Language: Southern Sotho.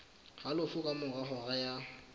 halofo ka mora hora ya